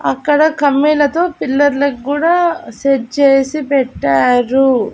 అక్కడ కంబీలతో పిల్లర్లక్గూడా సెట్ చేసి పెట్టారు.